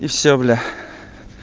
и всё бля